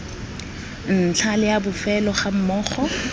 ntlha le a bofelo gammogo